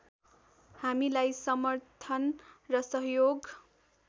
हामीलाई समर्थन र सहयोग